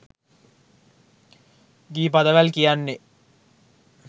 ගී පදවැල් කියන්නේ